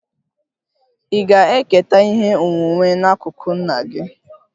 Ị ga-eketa ihe onwunwe n'akụkụ nna gị?